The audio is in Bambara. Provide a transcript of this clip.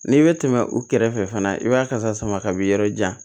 N'i bɛ tɛmɛ u kɛrɛfɛ fana i b'a kasa sama ka b'i yɔrɔ jan